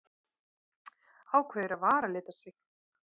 Ákveður að varalita sig.